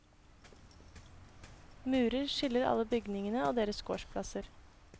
Murer skiller alle bygningene og deres gårdsplasser.